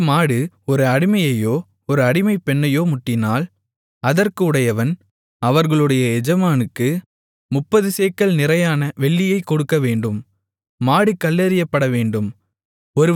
அந்த மாடு ஒரு அடிமையையோ ஒரு அடிமைப்பெண்ணையோ முட்டினால் அதற்கு உடையவன் அவர்களுடைய எஜமானுக்கு முப்பது சேக்கல் நிறையான வெள்ளியைக் கொடுக்கவேண்டும் மாடு கல்லெறியப்படவேண்டும்